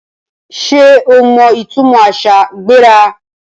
Sé o mọ ìtúmọ àṣà ‘gbéra’?